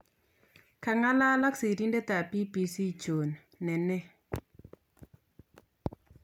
kangalal ak sirindet ap BBC John Nene